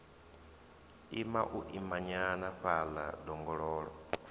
ima u imanyana fhaḽa ḓongololo